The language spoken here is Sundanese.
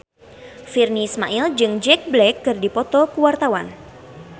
Virnie Ismail jeung Jack Black keur dipoto ku wartawan